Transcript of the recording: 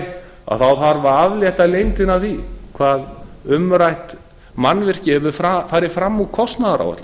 þarf að aflétta leyndinni af því hvað umrætt mannvirki hefur farið fram úr kostnaðaráætlun